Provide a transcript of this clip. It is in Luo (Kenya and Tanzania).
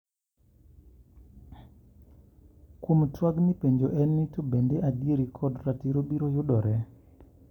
Kuom twagni penjo en ni to bende adieri kod ratiro biro yudore.